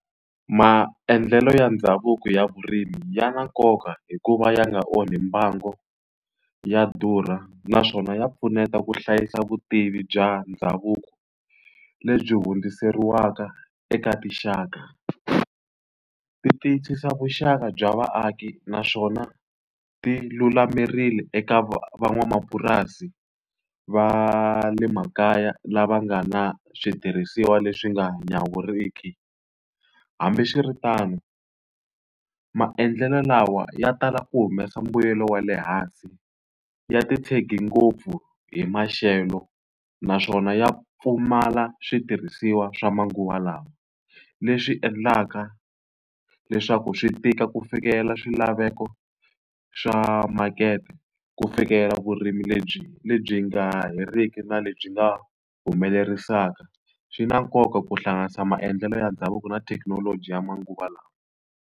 Maendlelo ya ndhavuko ya vurimi ya na nkoka hikuva ya nga onhi mbango, ya durha, naswona ya pfuneta ku hlayisa vutivi bya ndhavuko lebyi hundziseriwaka eka tinxaka. Ti tiyisisa vuxaka bya vaaki naswona ti lulamerile eka van'wamapurasi va le makaya lava nga na switirhisiwa leswi nga nyawuriki. Hambiswiritano, maendlelo lawa ya tala ku humesa mbuyelo wa le hansi. Ya ti tshege ngopfu hi maxelo naswona ya pfumala switirhisiwa swa manguva lawa, leswi swi endlaka leswaku swi tika ku fikelela swilaveko swa makete, ku fikela vurimi lebyi lebyi nga heriki na lebyi nga humelerisaka. Swi na nkoka ku hlanganisa maendlelo ya ndhavuko na thekinoloji ya manguva lawa.